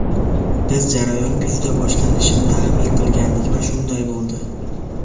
Biz jarayon kuzda boshlanishini taxmin qilgandik va shunday bo‘ldi.